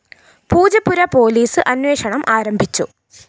Poojappura police അന്വേഷണം ആരംഭിച്ചു